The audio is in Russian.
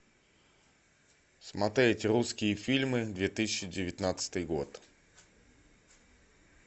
смотреть русские фильмы две тысячи девятнадцатый год